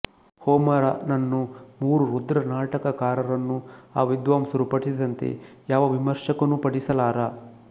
ಹೋಮರನನ್ನೂ ಮೂರು ರುದ್ರನಾಟಕಕಾರರನ್ನೂ ಆ ವಿದ್ವಾಂಸರು ಪಠಿಸಿದಂತೆ ಯಾವ ವಿಮರ್ಶಕನೂ ಪಠಿಸಲಾರ